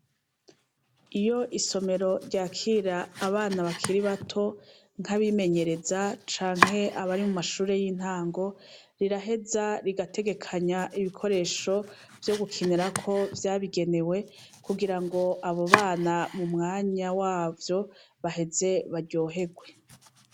Iyo isomero ryakira ,abana bakiri bato nkabimemenyereza canke abari mumashure y’intango, riraheza rigategekanya ibikoresho vyo gukinirako vyabigenewe, kugirango abo bana mumwanya wavyo baheze baryoherwe.